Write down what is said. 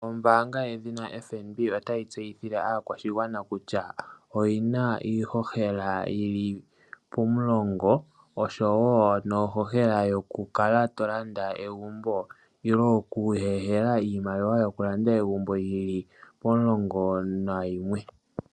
Ombanga yedhina FNB otayi tseyithile akwashigwana kutya oyina ihohela yili pomulongo noshowo ihohela yoku landa egumbo yili pomulongo nayimwe.